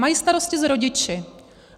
Mají starosti s rodiči.